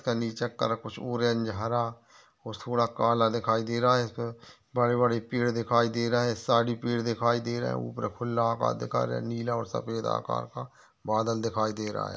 कुछ ऑरेंज हरा और थोड़ा काला दिखाई दे रहा है इसपे बड़े बड़े पेड़ दिखाई दे रहा है साइड भी पेड़ दिखाई दे रहा है ऊपर खुल्ला दिखारे नीला और सफ़ेद आकार का बादल दिखाई दे रहा है।